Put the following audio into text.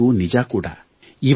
ಈ ಮಾತು ನಿಜ ಕೂಡ